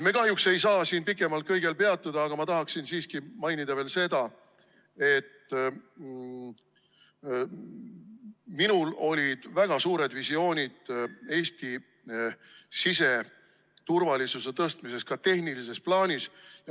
Me kahjuks ei saa siin pikemalt kõigel peatuda, aga ma tahaksin siiski mainida veel seda, et minul olid väga suured visioonid Eesti siseturvalisuse tugevdamiseks ka tehnilises plaanis.